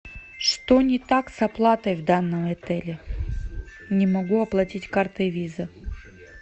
что не так с оплатой в данном отеле не могу оплатить картой виза